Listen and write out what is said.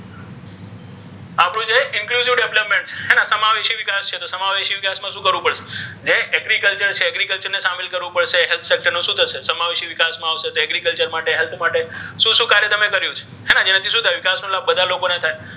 development હે ને સમાવેશી વિકાસ છે તો સમાવેશી વિકાસ મા શુ કરવુ પડ્શે હે agriculture છે agriculture ને સામેલ કરવુ health sector નુ શુ થશે સમાવેશી વિકાસ મા આવશે તો agriculture માટે health માટે શુ શુ કાર્ય તમે કર્યુ છે હે ને ઍનાથી શુ થાય વિકાસ નો લાભ બધા ને થાય્.